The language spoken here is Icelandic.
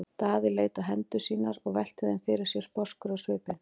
Daði leit á hendur sínar og velti þeim fyrir sér sposkur á svipinn.